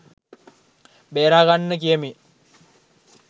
බේරා ගන්න කියමින්